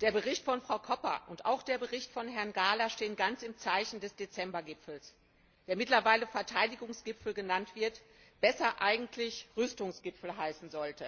Der Bericht von Frau Koppa und auch der Bericht von Herrn Gahler stehen ganz im Zeichen des Dezember Gipfels, der mittlerweile Verteidigungsgipfel genannt wird aber besser eigentlich Rüstungsgipfel heißen sollte!